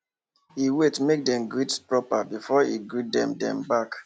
he wait make dem greet proper before he greet dem dem back